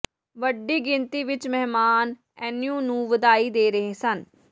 ਵੱਡੀ ਗਿਣਤੀ ਵਿਚ ਮਹਿਮਾਨ ਐਨੀਓ ਨੂੰ ਵਧਾਈ ਦੇ ਰਹੇ ਸਨ